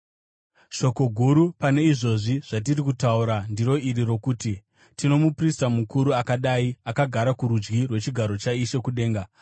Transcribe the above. Shoko guru pane izvozvi zvatiri kutaura ndiro iri rokuti: Tino muprista mukuru akadai, akagara kurudyi rwechigaro chaIshe kudenga,